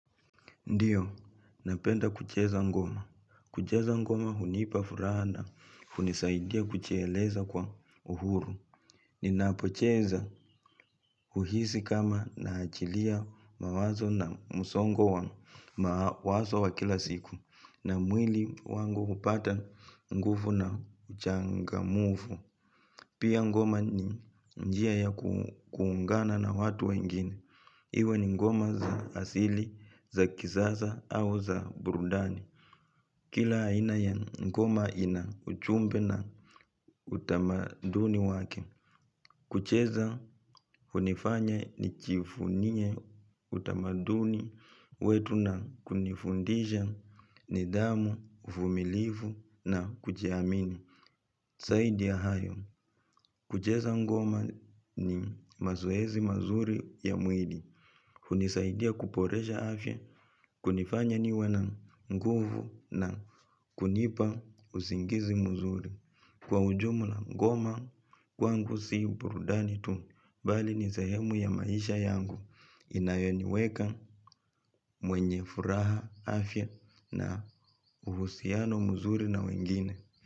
Ndio, napenda kucheza ngoma. Kucheza ngoma hunipa furaha, na hunisaidia kujieleza kwa uhuru. Ninapocheza huhisi kama na achilia mawazo na musongo wa mawazo wa kila siku. Na mwili wangu hupata nguvu na uchangamufu. Pia ngoma ni njia ya kuungana na watu wengine. Iwe ni ngoma za asili, za kisasa au za burudani. Kila aina ya ngoma ina ujumbe na utamaduni wake. Kucheza hunifanya ni jivunie utamaduni wetu na kunifundisha, nidhamu, uvumilivu na kujiamini. Zaidi ya hayo. Kucheza ngoma ni mazoezi mazuri ya mwili. Hunisaidia kuboresha afya kunifanya niwe na nguvu na kunipa usingizi mzuri kwa ujumula ngoma, kwangu si burudani tu, bali ni sehemu ya maisha yangu inayoniweka mwenye furaha afya na uhusiano muzuri na wengine.